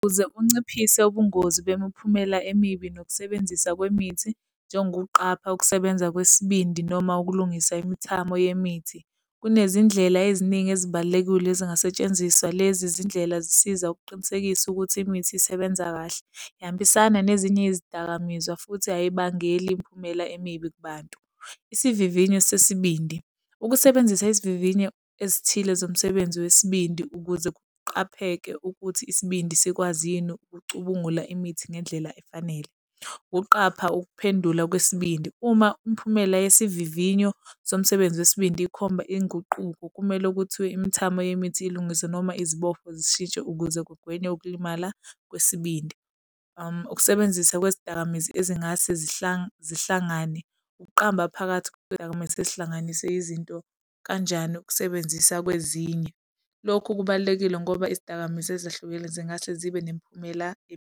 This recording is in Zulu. Ukuze unciphise ubungozi bemiphumela emibi nokusebenzisa kwemithi, njengokuqapha ukusebenza kwesibindi noma ukulungisa imithamo yemithi. Kunezindlela eziningi ezibalulekile ezingasetshenziswa. Lezi zindlela zisiza ukuqinisekisa ukuthi imithi isebenza kahle ihambisana nezinye izidakamizwa futhi eyimbangela imiphumela emibi kubantu. Isivivinyo sesibindi. Ukusebenzisa isivivinyo esithile zomsebenzi wesibindi ukuze kuqapheke ukuthi isibindi sikwazi yini ukucubungula imithi ngendlela efanele. Ukuqapha ukuphendula kwesibindi. Uma umphumela yesivivinyo somsebenzi wesibindi ikhomba inguquko, kumele kuthiwe imithamo yemithi ilungise noma izibopho zishintshe ukuze kugwenywe ukulimala kwesibindi. Ukusebenzisa kwezidakamizwa ezingase zihlangane. Ukuqamba phakathi kwezidakamizwa sezihlanganisa izinto kanjani ukusebenzisa kwezinye. Lokhu kubalulekile ngoba izidakamizwa ezahlukile zingase zibe nemiphumela .